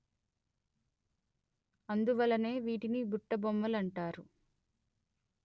అందువలననే వీటిని బుట్టబొమ్మలంటారు